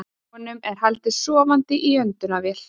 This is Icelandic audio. Honum er haldið sofandi í öndunarvél